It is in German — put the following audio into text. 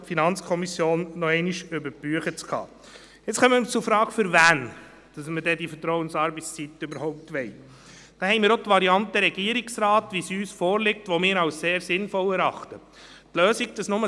Das bedeutet bei Eintreten eine möglichst restriktive Regelung maximal im Sinn, wie es die Regierung vorgeschlagen hat, nämlich wo sie die direkte Vorgesetztenfunktion und dann auch den Auftrag hat, dafür zu sorgen, dass es nicht zu Burnouts kommt.